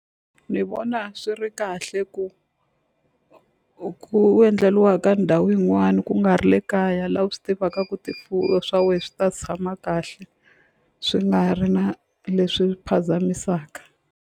Ni vona swi ri kahle ku ku endleliwa ka ndhawu yin'wana ku nga ri le kaya laha u swi tivaka ku swa we swi ta tshama kahle swi nga ri na leswi phazamisaka.